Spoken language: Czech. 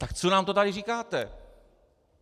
Tak co nám to tady říkáte?